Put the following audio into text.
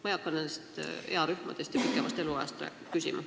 Ma ei hakka nende earühmade ja pikema eluaja kohta küsima.